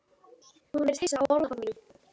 Hún virðist hissa á orðaforða mínum.